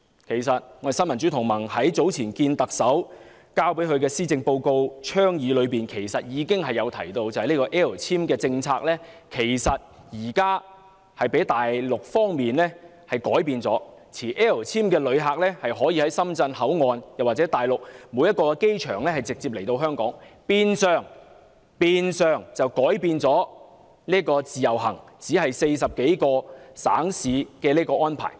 其實，新民主同盟早前與特首會面提交施政報告的倡議時，已經指出 "L 簽"政策現時被大陸方面改變，致令持 "L 簽"的旅客可以在深圳口岸或大陸各個機場直接來香港，變相改變了自由行只限40多個省市的安排。